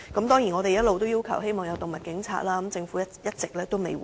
當然，我們一直要求設立動物警察，但政府卻一直未有回應。